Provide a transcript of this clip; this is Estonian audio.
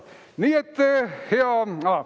Nii et hea …